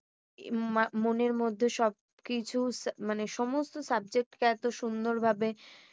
মনের মধ্যে সবকিছু মানে সমস্ত subject কে এত সুন্দর ভাবে